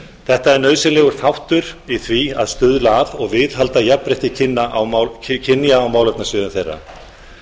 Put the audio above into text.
þetta er nauðsynlegur þáttur í því að stuðla að og viðhalda jafnrétti kynja á málefnasviðum þeirra